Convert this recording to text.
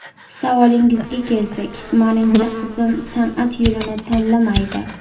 Savolingizga kelsak, menimcha qizim san’at yo‘lini tanlamaydi.